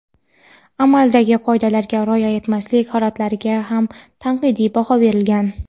amaldagi qoidalarga rioya etmaslik holatlariga ham tanqidiy baho berilgan.